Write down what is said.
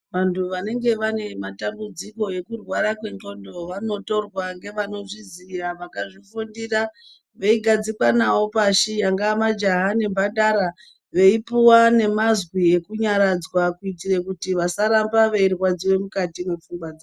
Vantu vanenge vane matambudziko ekurwara kwendhlondo vanotorwa ngevanozvizya vakazvifundira veigadzikwa nayo pashi angaa majaha nemhandara veipuwa nemazwi ekunyaradza kuitirekuti vasarambe veirwadziwa mukati mwepfungwa dzawo.